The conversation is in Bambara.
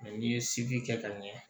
n'i ye siki kɛ ka ɲɛ